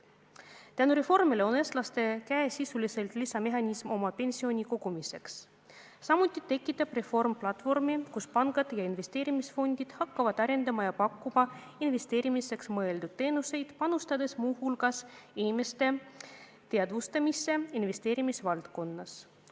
Tänu reformile on eestlaste käes sisuliselt lisamehhanism oma pensioni kogumiseks, samuti tekitab reform platvormi, kus pangad ja investeerimisfondid hakkavad arendama ja pakkuma investeerimiseks mõeldud teenuseid, panustades muu hulgas inimeste teadmiste parandamisse investeerimisvaldkonnas.